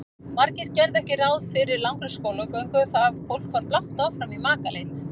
Margir gerðu ekki ráð fyrir langri skólagöngu og það fólk var blátt áfram í makaleit.